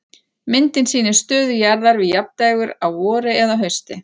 Myndin sýnir stöðu jarðar við jafndægur á vori eða hausti.